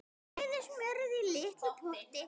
Bræðið smjörið í litlum potti.